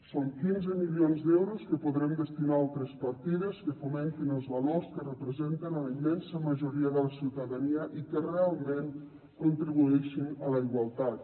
són quinze milions d’euros que podrem destinar a altres partides que fomentin els valors que representen la immensa majoria de la ciutadania i que realment contribueixin a la igualtat